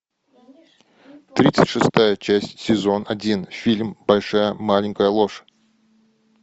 тридцать шестая часть сезон один фильм большая маленькая ложь